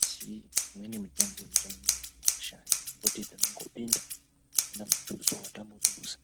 asi imweni mitombo irimwo mumagwasha yekuti tinongopinda pasina mutuso watambodusa.